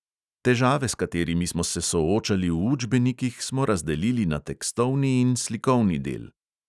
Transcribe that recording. Težave, s katerimi smo se soočali v učbenikih, smo razdelili na tekstovni in slikovni del.